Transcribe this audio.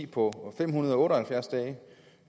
på fem hundrede og otte og halvfjerds dage